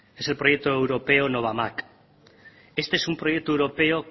es el proyecto europeo novamag este es un proyecto europeo